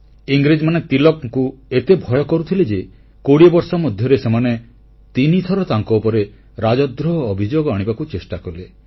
ଇଂରେଜମାନେ ତିଳକଙ୍କୁ ଏତେ ଭୟ କରୁଥିଲେ ଯେ 20 ବର୍ଷ ମଧ୍ୟରେ ସେମାନେ ତିନିଥର ତାଙ୍କ ଉପରେ ରାଜଦ୍ରୋହ ଅଭିଯୋଗ ଆଣିବାକୁ ଚେଷ୍ଟା କଲେ